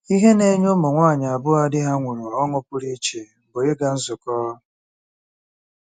Ihe na-enye ụmụ nwanyị abụọ a di ha nwụrụ ọṅụ pụrụ iche bụ ịga nzukọ.